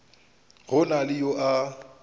go na le yo a